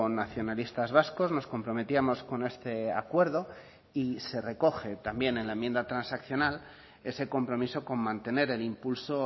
nacionalistas vascos nos comprometíamos con este acuerdo y se recoge también en la enmienda transaccional ese compromiso con mantener el impulso